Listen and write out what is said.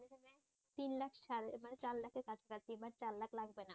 তিন লাখ সাড়ে মানে চার লাখের কাছাকাছি বা চার লাখ লাগবে না।